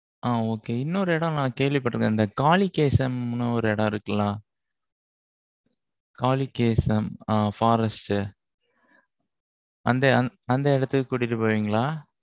அ, okay இன்னொரு இடம், நான் கேள்விப்பட்டிருக்கேன். இந்த காலிகேசம்ன்னு, ஒரு இடம் இருக்குல்ல, ஆ காலிகேசம் ஆ forest